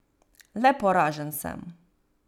Le poražen sem.